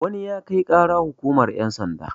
wani ya Kai ƙara hukumar yansanda